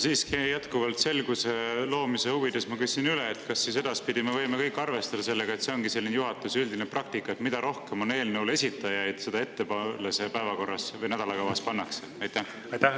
Siiski jätkuvalt selguse loomise huvides ma küsin üle: kas edaspidi me võime kõik arvestada sellega, et juhatuse üldine praktika ongi selline, et mida rohkem on eelnõu esitajaid, seda ettepoole see päevakorras või nädala kavas pannakse?